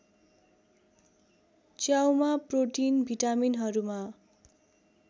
च्याउमा protein भिटामिनहरूमा